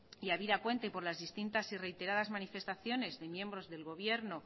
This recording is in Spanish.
y habida cuenta y por las distintas y reiteradas manifestaciones de miembros del gobierno